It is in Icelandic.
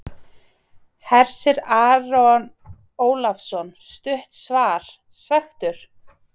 Hersir Aron Ólafsson: Stutt svar, svekktur?